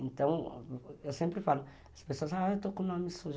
Então, eu sempre falo, as pessoas falam, eu estou com o nome sujo.